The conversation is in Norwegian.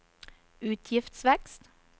utgiftsvekst